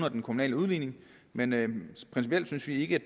og den kommunale udligning men principielt synes vi ikke